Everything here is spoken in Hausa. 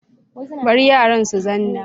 Bari yaran su zanna